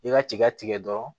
I ka tiga tigɛ dɔrɔn